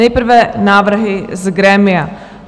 Nejprve návrhy z grémia.